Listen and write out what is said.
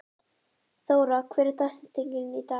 Þóra, hver er dagsetningin í dag?